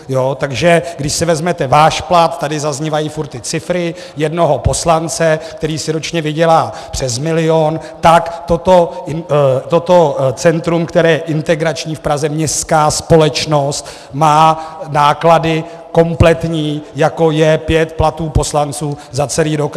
Takže když si vezmete váš plat, tady zaznívají furt ty cifry, jednoho poslance, který si ročně vydělá přes milion, tak toto centrum, které je integrační v Praze, městská společnost, má náklady kompletní, jako je pět platů poslanců za celý rok.